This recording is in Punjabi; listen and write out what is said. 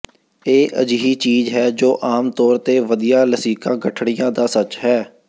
ਇਹ ਅਜਿਹੀ ਚੀਜ ਹੈ ਜੋ ਆਮ ਤੌਰ ਤੇ ਵਧੀਆਂ ਲਸਿਕਾ ਗਠੜੀਆਂ ਦਾ ਸੱਚ ਹੈ